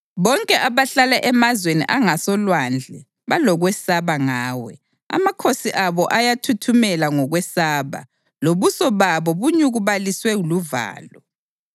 Bonke abahlala emazweni angasolwandle balokwesaba ngawe; amakhosi abo ayathuthumela ngokwesaba lobuso bawo bunyukubaliswe luvalo.